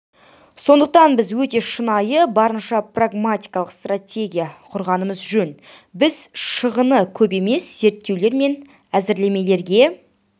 сондықтан біз өте шынайы барынша прагматикалық стратегия құрғанымыз жөн біз шығыны көп емес зерттеулер мен әзірлемелерге